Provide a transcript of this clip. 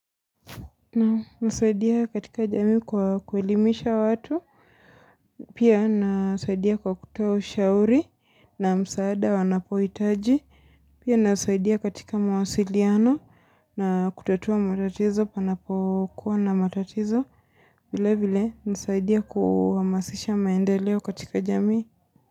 Kumsaidia katika jami kwa kwelimisha watu. Pia nasaidia kwa kutoa ushauri na msaada wanapoitaji. Pia nasaidia katika mawasiliano na kutatua matatizo panapokuwa na matatizo. Vile vile nasaidia kuhamasisha maendeleo katika jami.